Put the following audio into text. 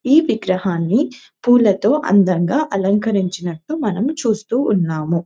ఈ విగ్రహాన్ని పూలతో అందంగా అలంకరించినట్టు మనము చూస్తూ ఉన్నాము.